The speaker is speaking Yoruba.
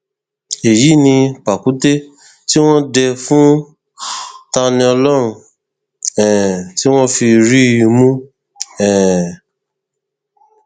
èyí ni pàkúté tí wọn dé fún taníọlọrun um tí wọn fi rí i mú um